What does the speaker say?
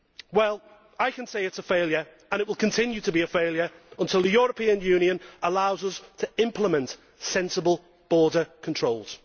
Well, I can tell you it is a failure and will continue to be a failure until the European Union allows us to implement sensible border controls.